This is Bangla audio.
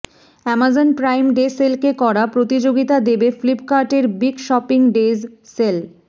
অ্যামাজন প্রাইম ডে সেলকে করা প্রতিযোগিতা দেবে ফ্লিপকার্টের বিগ শপিং ডেজ সেল